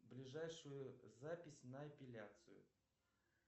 ближайшую запись на эпиляцию